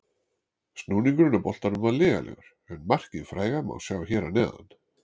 Snúningurinn á boltanum var lygilegur, en markið fræga má sjá hér að neðan.